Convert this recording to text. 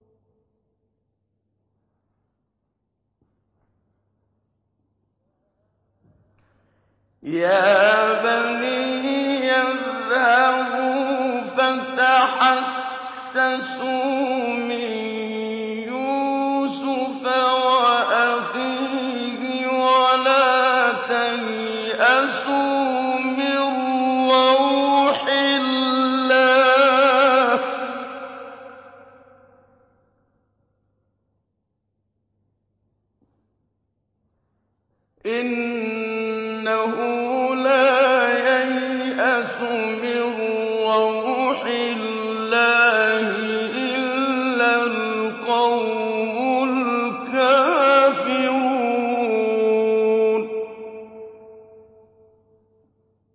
يَا بَنِيَّ اذْهَبُوا فَتَحَسَّسُوا مِن يُوسُفَ وَأَخِيهِ وَلَا تَيْأَسُوا مِن رَّوْحِ اللَّهِ ۖ إِنَّهُ لَا يَيْأَسُ مِن رَّوْحِ اللَّهِ إِلَّا الْقَوْمُ الْكَافِرُونَ